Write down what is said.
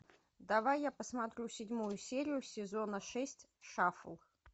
давай я посмотрю седьмую серию сезона шесть шафл